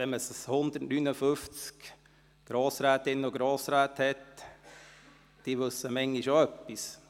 Wenn man 159 Grossrätinnen und Grossräte hat, wissen diese manchmal auch etwas.